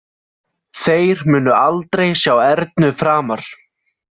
Þeir munu aldrei sjá Ernu framar?